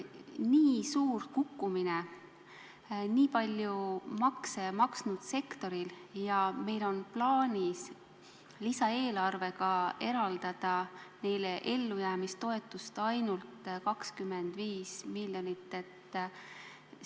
Nii suur kukkumine nii palju makse maksnud sektoris ja meil on lisaeelarvega plaanis eraldada neile ellujäämistoetust ainult 25 miljonit!